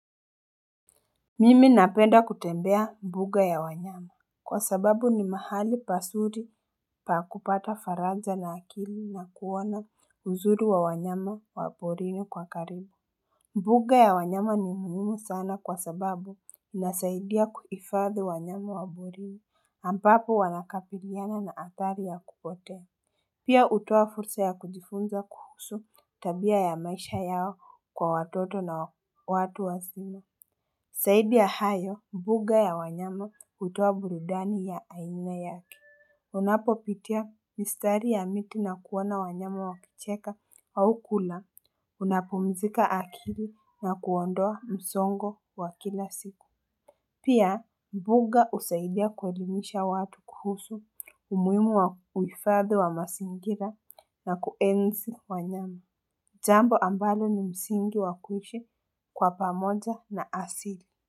Mimi napenda kutembea mbuga ya wanyama. Kwa sababu ni mahali pasuri pa kupata faraja na akili na kuona uzuri wa wanyama wa porini kwa karibu. Mbuga ya wanyama ni muhimu sana kwa sababu inasaidia kuhifadhi wanyama wa porini ambapo wanakabiliana na hatari ya kupotea. Pia hutoa fursa ya kujifunza kuhusu tabia ya maisha yao kwa watoto na watu wazima. Zaidi ya hayo, mbuga ya wanyama hutoa burudani ya aina yake. Unapopitia mistari ya miti na kuona wanyama wakicheka au kula, unapumzika akili na kuondoa msongo wa kila siku. Pia, mbuga husaidia kuelimisha watu kuhusu, umuhimu wa kuhifadhi wa mazingira na kuenzi wanyama. Jambo ambalo ni msingi wa kuishi kwa pamoja na asili.